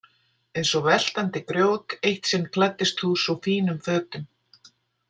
Eins og veltandi grjót Eitt sinn klæddist þú svo fínum fötum.